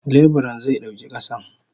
Leburan ze dauki kasan.